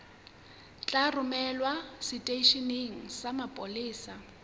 tla romelwa seteisheneng sa mapolesa